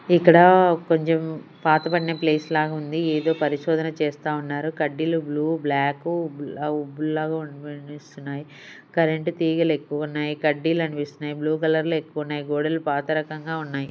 ఇక్కడ కొంచెం పాతపడిన ప్లేస్ లాగా ఉంది ఏదో పరిశోధన చేస్తా ఉన్నారు కడ్డీలు బ్లూ బ్లాక్ కరెంట్ తీగలు ఎక్కువ ఉన్నాయి కడ్డీలు అనిపిస్తున్నాయి బ్లూ కలర్లు ఎక్కువ ఉన్నాయి గోడెలు పాత రకంగా ఉన్నాయి.